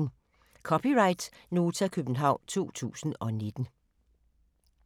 (c) Nota, København 2019